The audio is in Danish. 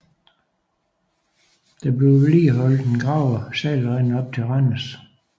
Der bliver vedligeholdt en gravet sejlrende op til Randers